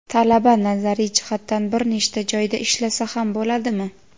Talaba nazariy jihatdan bir nechta joyda ishlasa ham bo‘ladimi?.